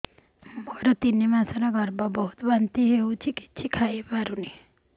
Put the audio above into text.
ମୋର ତିନି ମାସ ଗର୍ଭ ବହୁତ ବାନ୍ତି ହେଉଛି କିଛି ଖାଇ ପାରୁନି